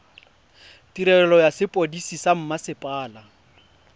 tirelo ya sepodisi sa mmasepala